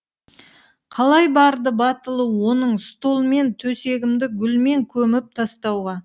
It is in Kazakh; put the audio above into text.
қалай барды батылы оның стол мен төсегімді гүлмен көміп тастауға